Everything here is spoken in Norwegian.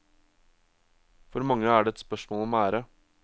For mange er det et spørsmål om ære.